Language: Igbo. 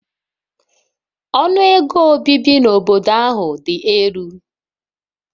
Ọnụ ego obibi n'obodo ahụ dị elu